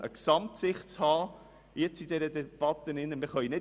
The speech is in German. Zudem geht es darum, in dieser Debatte eine Gesamtsicht zu haben.